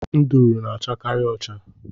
Nduru na- achakari ụcha.